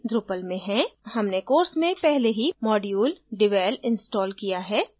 हमने course में पहले ही module devel installed किया है